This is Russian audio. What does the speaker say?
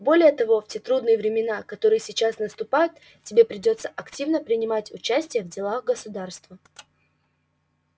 более того в те трудные времена которые сейчас наступают тебе придётся активно принимать участие в делах государства